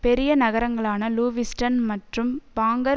பெரிய நகரங்களான லுவிஸ்டன் மற்றும் பாங்கர்